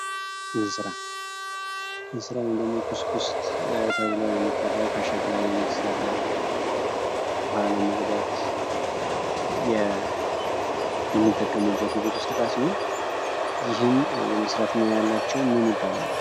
እንስራ እንስራ ወይም ደግሞ ኩስኩስ ተብሎ የሚጠራው ከሸክላ የሚሰራ ዉሃ ለመቅዳት የሚጠቀሙበት የቤት ውስጥ እቃ ሲሆን ይህን የመስራት ሙያ ያያላቸው ሰዎች ምን ይባላሉ።